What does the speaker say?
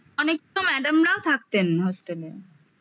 অনেক তো madam রাও থাকতেন hostel এ